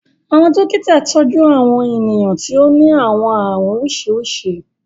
Àwọn dokita tọju Àwọn eniyan ti o ni àwọn àarun oriṣiriṣi